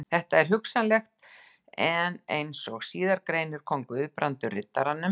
Þetta er hugsanlegt, en eins og síðar greinir kom Guðbrandur Riddaranum